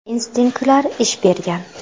Instinktlar ish bergan.